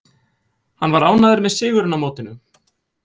Hann var ánægður með sigurinn á mótinu.